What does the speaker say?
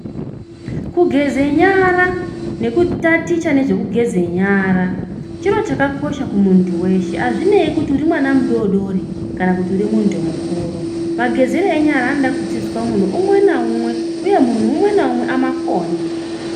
Kugezera nyara nekutaticha nezvekugeze nyara chiro chakakosha kumuntu weshe azvinei kuti uri mwana mudodori kana kuti uri muntu mukuru magezere enyara anoda kudzidziswa munhu mumwe namumwe uye munhu umwe naumwe amakone.